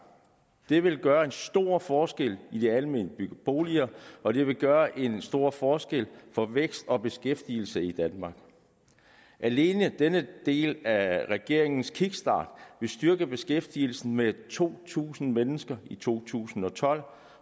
det vil gøre en stor forskel i de almene boliger og det vil gøre en stor forskel for vækst og beskæftigelse i danmark alene denne del af regeringens kickstart vil styrke beskæftigelsen med to tusind mennesker i to tusind og tolv